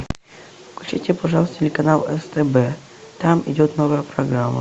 включи пожалуйста телеканал стб там идет новая программа